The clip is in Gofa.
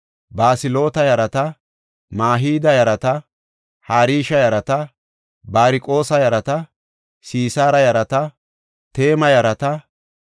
Safaaxa yarata, Haxila yarata, Pokereet-Haxabayma yaratanne Amoone yarata.